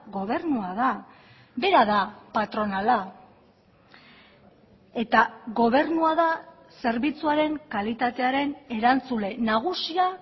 gobernua da bera da patronala eta gobernua da zerbitzuaren kalitatearen erantzule nagusia